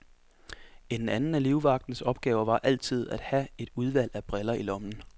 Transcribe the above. En anden af livvagternes opgave var altid at have et udvalg af briller i lommen.